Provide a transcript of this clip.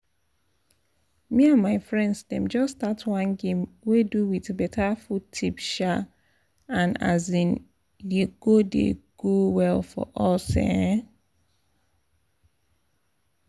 me and my friends dem just start one game wey do with better food tips um and um e dey go dey go well for us um